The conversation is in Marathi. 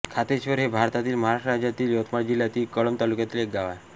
खातेश्वर हे भारतातील महाराष्ट्र राज्यातील यवतमाळ जिल्ह्यातील कळंब तालुक्यातील एक गाव आहे